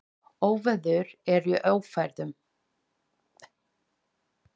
Óveður er í Öræfum.